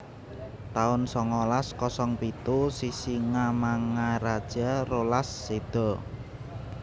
taun songolas kosong pitu Sisingamangaraja rolas séda